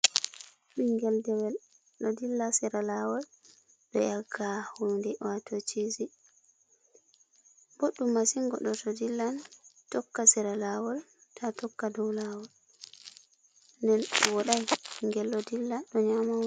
Ɓingel dewel ɗo dilla sera lawol, ɗo yakka hunde wato chizi. Ɓoɗɗum masin goɗɗo to dillan tokka sera lawol ta tokka dow lawol. Nden woɗai ngel ɗo dilla ɗo nyama.